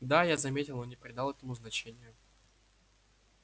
да я заметил но не придал этому значения